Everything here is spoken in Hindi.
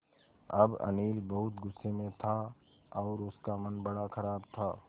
अब अनिल बहुत गु़स्से में था और उसका मन बड़ा ख़राब था